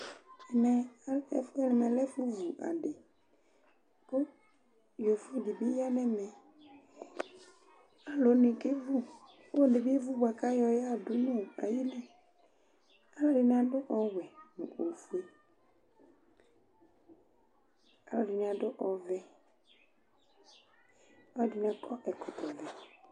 Ɛmɛ ɔlɛ ɛfʋɛ ,ɛmɛ lɛ ɛfʋ vu adɩKʋ yovo dɩ bɩ ya nɛmɛ; alʋ wanɩ kevu, kɔlɔdɩ bɩ evu bʋa ka yɔ yadʋ nɔ ayiliAlʋ ɛdɩnɩ adʋ : ɔwɛ, ofue, alʋ ɛdɩnɩ ad ɔvɛ, alʋ ɛdɩnɩ akɔ ɛkɔtɔ vɛ